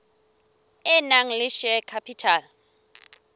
e nang le share capital